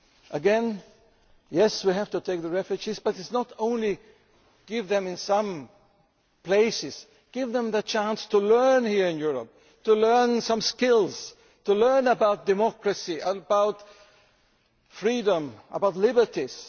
Again yes, we have to take the refugees, but it is not only about giving them certain things. We should give them the chance to learn here in Europe, to learn some skills, to learn about democracy, about freedom, about liberties.